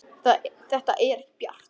Þetta er ekki bjart.